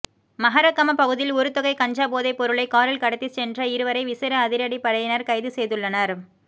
மஹரகம பகுதியில் ஒருத்தொகை கஞ்சா போதை பொருளை காரில் கடத்திச் சென்ற இருவரை விசேட அதிரடிப் படையினர் கைது செய்துள்ளனர்